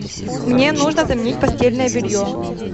мне нужно заменить постельное белье